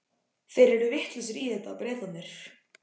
Þeir eru vitlausir í þetta, Bretarnir.